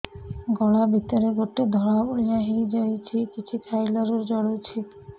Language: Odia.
ଗଳା ଭିତରେ ଗୋଟେ ଧଳା ଭଳିଆ ହେଇ ଯାଇଛି କିଛି ଖାଇଲାରୁ ଜଳୁଛି